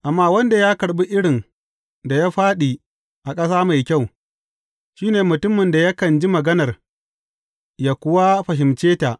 Amma wanda ya karɓi irin da ya fāɗi a ƙasa mai kyau, shi ne mutumin da yakan ji maganar yă kuwa fahimce ta.